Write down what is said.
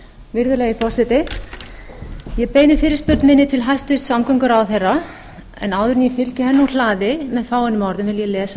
virðulegi forseti ég beini fyrirspurn minni til hæstvirts samgönguráðherra en áður en ég fylgi henni úr hlaði með fáeinum orðum vil ég lesa